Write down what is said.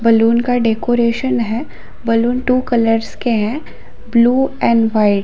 balloon का decoration है balloon two colours के है ब्लू एण्ड व्हाइट